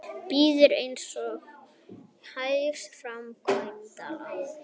Býður einstaklingum hagstæð framkvæmdalán